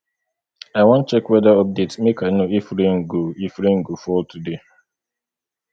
i wan check weather update make i know if rain go if rain go fall today